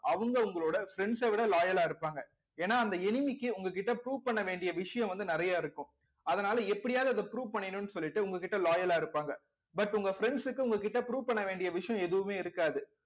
அவங்க உங்களோட friends அ விட loyal ஆ இருப்பாங்க ஏன்னா அந்த enemy க்கு உங்க கிட்ட prove பண்ண வேண்டிய விஷயம் வந்து நிறைய இருக்கும் அதனால எப்படியாவது அதை prove பண்ணிக்கணும்ன்னு சொல்லிட்டு உங்க கிட்ட loyal ஆ இருப்பாங்க but உங்க friends க்கு உங்க கிட்ட prove பண்ண வேண்டிய விஷயம் எதுவுமே இருக்காது